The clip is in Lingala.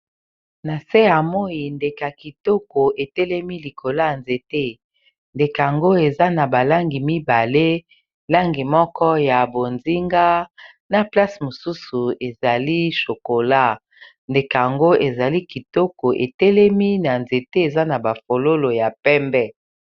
Na se ya moyi ndeke ya kitoko etelemi likola ya nzete ndeke ngo eza na balangi mibale langi moko ya bonzinga na place mosusu ezali chokola ndeke ango ezali kitoko etelemi na nzete eza na ba fololo ya pembe.